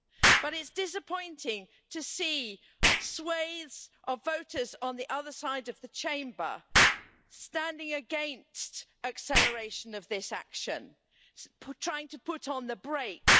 But it's disappointing to see swathes of voters on the other side of the Chamber standing against acceleration of this action, trying to put on the brakes.